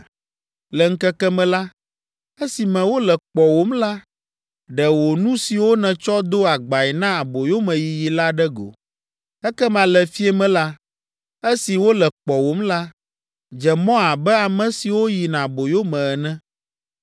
Le ŋkeke me la, esime wole kpɔwòm la, ɖe wò nu siwo nètsɔ do agbae na aboyomeyiyi la ɖe go. Ekema le fiẽ me la, esi wole kpɔwòm la, dze mɔ abe ame siwo yina aboyo me ene.